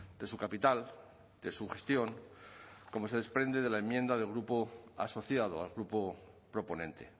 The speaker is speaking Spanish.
de su capital de su gestión como se desprende de la enmienda del grupo asociado al grupo proponente